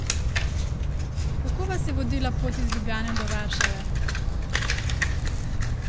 Kako vas je vodila pot iz Ljubljane do Varšave?